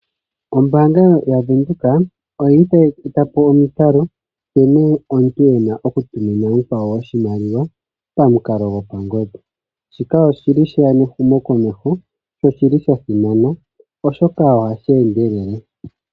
Ombaanga ya Venduka oyili tayi gandja nkene omuntu ena oku tumina omukwawo iimaliwa pamukalo gopangodhi. Shika oshili sheya nehumokomeho sho oshili sha simana oshoka ohashi endelele.